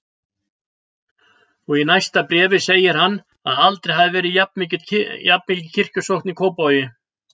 Og í næsta bréfi segir hann að aldrei hafi verið jafnmikil kirkjusókn í Kópavogi.